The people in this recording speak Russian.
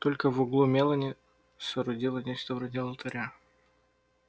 только в углу мелани соорудила нечто вроде алтаря